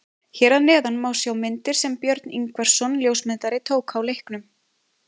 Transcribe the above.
Hér að neðan má sjá myndir sem Björn Ingvarsson ljósmyndari tók á leiknum.